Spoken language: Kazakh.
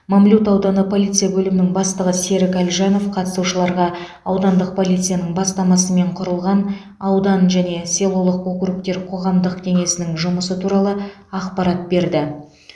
мамлют ауданы полиция бөлімінің бастығы серік әлжанов қатысушыларға аудандық полицияның бастамасымен құрылған аудан және селолық округтер қоғамдық кеңесінің жұмысы туралы ақпарат берді